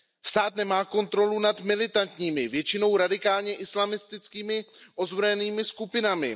Stát nemá kontrolu nad militantními, většinou radikálně islamistickými ozbrojenými skupinami.